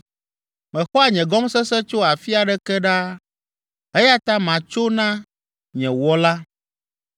Mexɔa nye gɔmesese tso afi aɖeke ɖaa, eya ta matso na nye Wɔla.